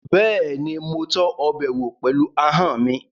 Bẹ́ẹ̀ni, mo tọ́ ọbẹ̀ wò pẹ̀lú ahọ́n mi